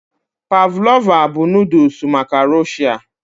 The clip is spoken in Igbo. Pavlova bụ noodles maka Rọ̀shia